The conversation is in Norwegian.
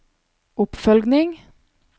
oppfølging